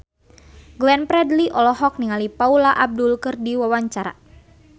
Glenn Fredly olohok ningali Paula Abdul keur diwawancara